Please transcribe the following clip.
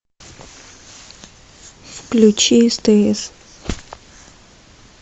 включи стс